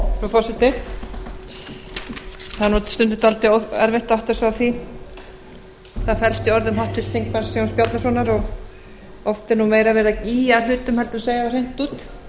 forseti það er stundum dálítið erfitt að átta sig á því hvað felst í orðum háttvirts þingmanns jóns bjarnasonar og oft er meira verið að ýja að hlutum en segja þá hreint út